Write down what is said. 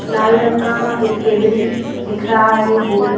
लाल रंग का एक टेबल दिख रहा है गोल--